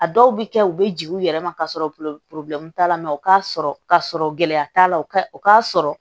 A dɔw bɛ kɛ u bɛ jigin u yɛrɛ ma kasɔrɔ t'a la u k'a sɔrɔ ka sɔrɔ gɛlɛya t'a la o ka o k'a sɔrɔ